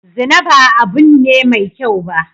Zina ba abun ne mai kyau ba